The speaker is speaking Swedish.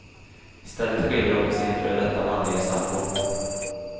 I stället skyller hon på sin före detta manlige sambo.